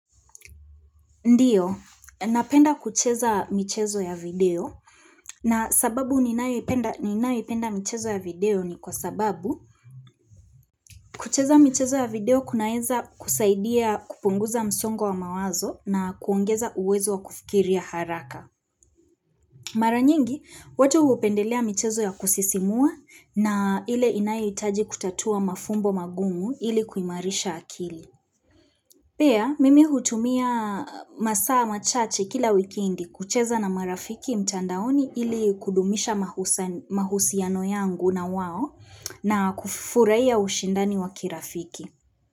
Ndiyo, napenda kucheza michezo ya video na sababu ninayoipenda michezo ya video ni kwa sababu kucheza michezo ya video kunaweza kusaidia kupunguza msongo wa mawazo na kuongeza uwezo wa kufikiria haraka. Mara nyingi, watu hupendelea michezo ya kusisimua na ile inayohitaji kutatua mafumbo magumu ili kuimarisha akili. Pia, mimi hutumia masaa machache kila wikendi kucheza na marafiki mtandaoni ili kudumisha mahusiano yangu na wao na kufurahia ya ushindani wakirafiki.